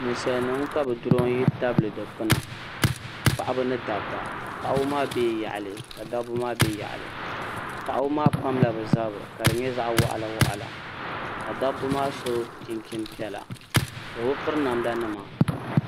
Ninsalnim ka bi duronyi pa dukpuna paɣaba ni dab ba paɣaba maa bɛla yaɣili ka dabi maa gba bɛ yaɣili paɣaba pamla bɛ zari ka di nya zaɣi waɣila waɣila ka dabi maa so chinchin piɛla bɛ bi piri namda nima